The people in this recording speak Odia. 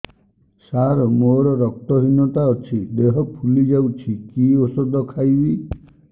ସାର ମୋର ରକ୍ତ ହିନତା ଅଛି ଦେହ ଫୁଲି ଯାଉଛି କି ଓଷଦ ଖାଇବି